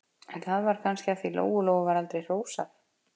En það var kannski af því að Lóu-Lóu var aldrei hrósað.